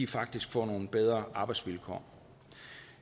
faktisk får nogle bedre arbejdsvilkår